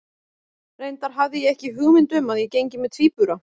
Reyndar hafði ég ekki hugmynd um að ég gengi með tvíbura.